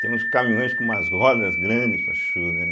Tem uns caminhões com umas rodas grandes.